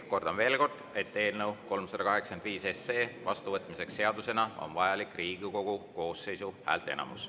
Kordan veel kord, et eelnõu 385 SE vastuvõtmiseks seadusena on vajalik Riigikogu koosseisu häälteenamus.